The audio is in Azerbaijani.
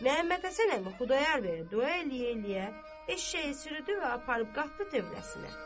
Məhəmmədhəsən əmi Xudayar bəyə dua eləyə-eləyə eşşəyi sürüdü və aparıb qatdı tövləsinə.